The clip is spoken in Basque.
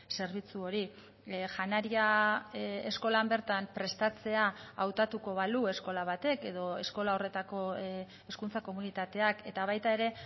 zerbitzu hori janaria eskolan bertan prestatzea hautatuko balu eskola batek edo eskola horretako hezkuntza komunitateak eta baita ere